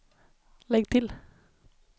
lägg till